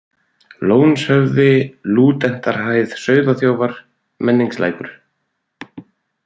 Lónshöfði, Lúdentarhæð, Sauðaþjófar, Menningslækur